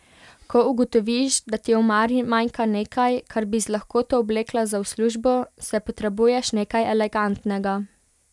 Ko ugotoviš, da ti v omari manjka nekaj, kar bi z lahkoto obleka za v službo, saj potrebuješ nekaj elegantnega.